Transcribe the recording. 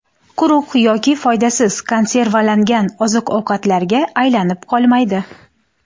Quruq yoki foydasiz konservalangan oziq-ovqatlarga aylanib qolmaydi.